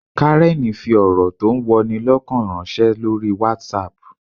Karen fi ọ̀rọ̀ tó ń wọni lọ́kàn ránṣẹ́ lórí WhatsApp